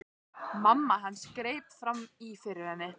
Mamma hans greip fram í fyrir henni.